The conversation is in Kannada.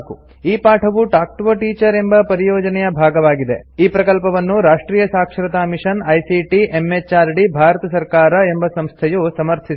ಈ ಪಾಠವು ಟಾಲ್ಕ್ ಟಿಒ a ಟೀಚರ್ ಎಂಬ ಪರಿಯೋಜನೆಯ ಭಾಗವಾಗಿದೆಈ ಪ್ರಕಲ್ಪವನ್ನು ರಾಷ್ಟ್ರಿಯ ಸಾಕ್ಷರತಾ ಮಿಷನ್ ಐಸಿಟಿ ಎಂಎಚಆರ್ಡಿ ಭಾರತ ಸರ್ಕಾರ ಎಂಬ ಸಂಸ್ಥೆಯು ಸಮರ್ಥಿಸಿದೆ